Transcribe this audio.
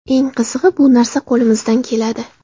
Eng qizig‘i, bu narsa qo‘limizdan keladi.